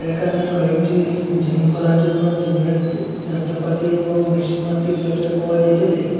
এখানে কয়েকটি জিম করার জন্য জিমের য যন্ত্রপাতি এবং মেশিনমাতি দেখতে পাওয়া যাইতেসে।